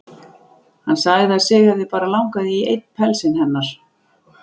Hann sagði að sig hefði bara langað í einn pelsinn hennar.